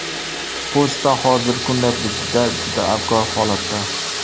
Pochta hozirgi kunda bizda juda abgor holatda.